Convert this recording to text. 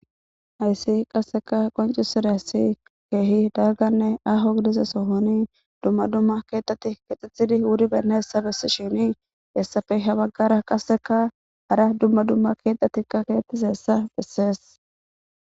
Hayssi qasekka qonccisizayssi keehi dalgganne aaho gidida sohonni dumma dumma keeththati keexetidinne wuridayssa besishin hessappe ha baggara qasikka hara dumma dumma keeththatikka betizayssa beesses